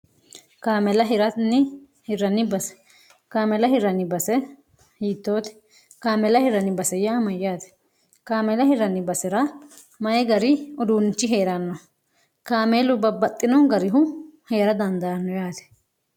kaamela hiranni hirrnn base kaamela hiranni base hiittooti kaamela hirn bsy mayyaati kaamela hirranni basi'ra mayi gari uduunnichi hee'ranno kaameelu babbaxxino garihu hee'ra dandaanniraati